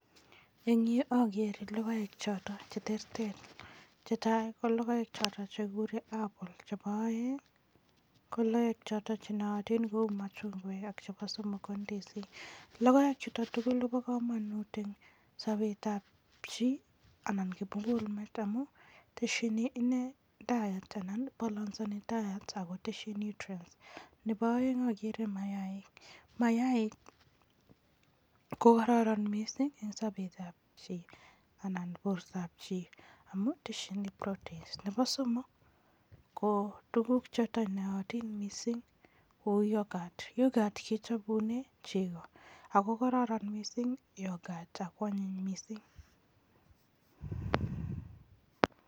Eng yu, ageere logoek choto che terter, che tai, ageere logoek choto chekikure apple, chebo aeng, ko logoek choto che naatin kou machungwek ako chebo somok ko ndisik. Logoek chuto tugul kobo kamanut eng sobetab chi anan kimugul meet amun teshini ine diet anan balasani diet ako teshi nutrients. Nebo aeng, ageere mayaaik, mayaik ko kararan mising eng sobetab chi anan bortoab chi amun teshini proteins. Nebo somok, ko tuguk choto naatin mising kou yoghurt, yoghurt kechopune chego ako koraran mising yoghurt ako anyiny mising.